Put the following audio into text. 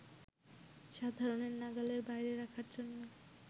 সাধারণের নাগালের বাইরে রাখার জন্য